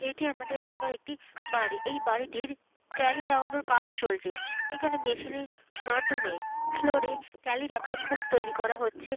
এটি আমাদের এলাকার একটি বাড়ি। এই বাড়িটির টালি লাগানোর কাজ চলছে। এখানে মেশিনের মাধ্যমে ফ্লোরে টালি রাখার খোপ তৈরি করা হচ্ছে।